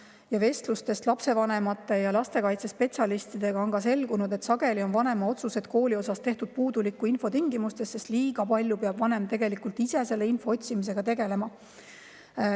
Ja vestlustest lapsevanemate ja lastekaitsespetsialistidega on ka selgunud, et sageli on vanema otsused kooli kohta tehtud puuduliku info tingimustes, sest vanem peab liiga palju ise selle info otsimisega tegelema.